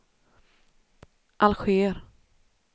Alger